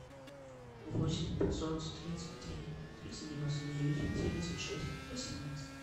восемь пятьсот тридцать три триста девяносто девять семьдесят шесть восемнадцать